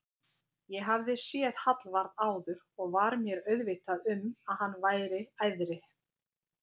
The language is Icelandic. Ég hafði séð Hallvarð áður og var mér meðvituð um að hann væri æðri